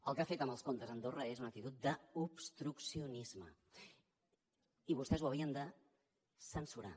el que ha fet amb els comptes a andorra és una actitud d’obstruccionisme i vostès ho haurien de censurar